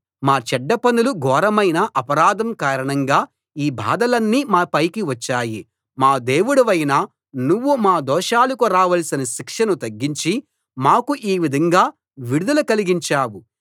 మా చెడ్డ పనులు ఘోరమైన అపరాధం కారణంగా ఈ బాధలన్నీ మాపైకి వచ్చాయి మా దేవుడవైన నువ్వు మా దోషాలకు రావలసిన శిక్షను తగ్గించి మాకు ఈ విధంగా విడుదల కలిగించావు